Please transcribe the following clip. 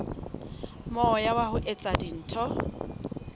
moya wa ho etsa dintho